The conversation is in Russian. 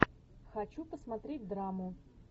хочу посмотреть драму